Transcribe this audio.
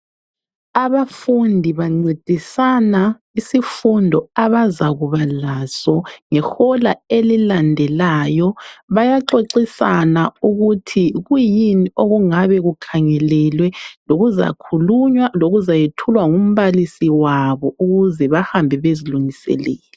Abafundi bancedisana isifundo abazakuba laso ngehola elilandelayo. Bayaxoxisana ukuthi kuyini okungabe kukhangelelwe lokuzakhulunywa lokuzayethulwa ngumbalisi wabo ukuze bahambe bezilungiselele.